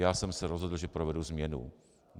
Já jsem se rozhodl, že provedu změnu...